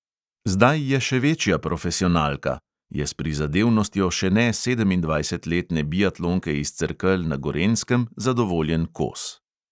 "Zdaj je še večja profesionalka," je s prizadevnostjo še ne sedemindvajsetletne biatlonke iz cerkelj na gorenjskem zadovoljen kos.